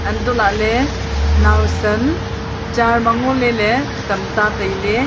untoh lahley nowsan chair ma ngoley ley tam ta tailey.